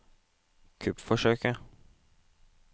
kuppforsøket